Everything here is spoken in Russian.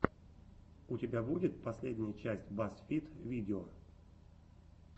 у тебя будет последняя часть баз фид видео